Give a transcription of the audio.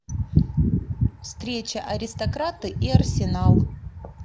встреча аристократы и арсенал